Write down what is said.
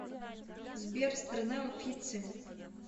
сбер страна уффици